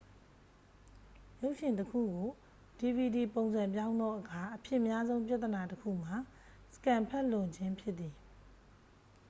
ရုပ်ရှင်တစ်ခုကို dvd ပုံစံပြောင်းသောအခါ အဖြစ်များဆုံးပြဿနာတစ်ခုမှာ စကင်န်ဖတ်လွန်ခြင်းဖြစ်သည်